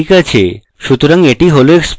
ok আছে সুতরাং এটি হল explode